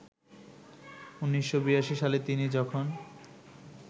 ১৯৮২ সালে তিনি যখন